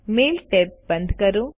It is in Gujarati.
મેઇલ ટેબ બંધ કરો